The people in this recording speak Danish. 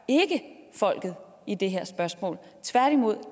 folket i det her spørgsmål tværtimod